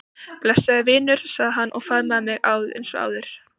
Blessaður vinur sagði hann og faðmaði mig eins og áður.